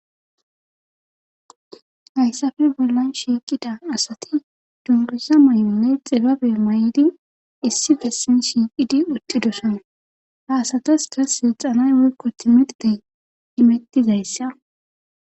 Hayssafe bollan shiiqida asati dunguza may'onne xibabe may'di issi bessin shiiqidi utdidosan haasatas da seexanay woykko timidtey imettizayssa.